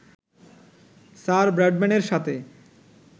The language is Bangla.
স্যার ব্রাডম্যানের সাথে